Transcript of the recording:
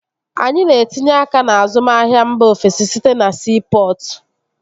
Anyị na-etinye aka n'azụmahia mba ofesi site na siipọtụ